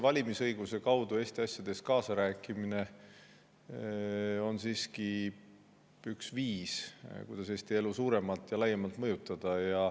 Valimisõiguse kaudu Eesti asjades kaasarääkimine on siiski üks viis, kuidas Eesti elu suuremalt ja laiemalt mõjutada.